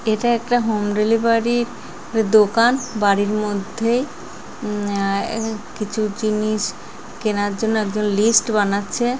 এটা একটা home delivery দোকান বাড়ির মধ্যেই আহ কিছু জিনিস কেনার জন্য একজন লিস্ট বানাচ্ছে।